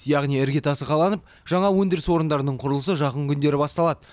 яғни іргетасы қаланып жаңа өндіріс орындарының құрылысы жақын күндері басталады